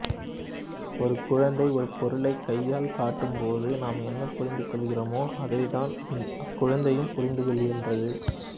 ஒரு குழந்தை ஒரு பொருளைக் கையால் காட்டும்போது நாம் என்ன புரிந்து கொள்கிறோமோ அதையேதான் அக் குழந்தையும் புரிந்து கொள்கின்றது